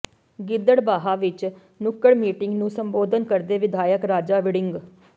ਗਿੱਦੜਬਾਹਾ ਵਿੱਚ ਨੁੱਕੜ ਮੀਟਿੰਗ ਨੂੰ ਸੰਬੋਧਨ ਕਰਦੇ ਵਿਧਾਇਕ ਰਾਜਾ ਵੜਿੰਗ